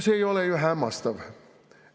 See ei ole ju hämmastav.